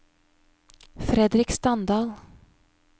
Fredrik Standal